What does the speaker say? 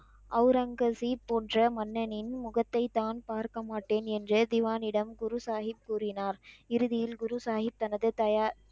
அவ்ரங்கசீப் போன்ற மன்னனின் முகத்தை தான் பார்க்கமாட்டேன் என்று திவானிடம் குரு சாஹிப் கூறினார் இறுதியில் குரு சாஹிப் தந்து தயா,